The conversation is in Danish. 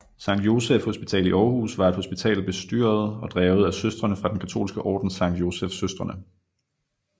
Sankt Joseph Hospital i Aarhus var et hospital bestyret og drevet af Søstrene fra den katolske orden Sankt Joseph Søstrene